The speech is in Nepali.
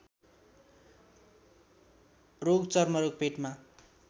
रोग चर्मरोग पेटमा